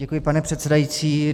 Děkuji, pane předsedající.